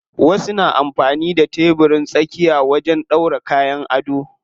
Wasu na amfani da tebirin tsakiya wajen ɗora kayan ado.